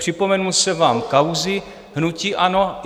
Připomenul jsem vám kauzy hnutí ANO.